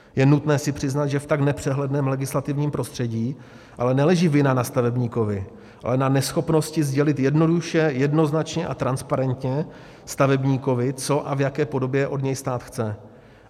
Je nutné si přiznat, že v tak nepřehledném legislativním prostředí ale neleží vina na stavebníkovi, ale na neschopnosti sdělit jednoduše, jednoznačně a transparentně stavebníkovi, co a v jaké podobě od něj stát chce.